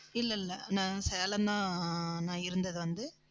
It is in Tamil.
இல்ல, இல்ல நான் சேலம் தான் ஆஹ் நான் இருந்தது வந்து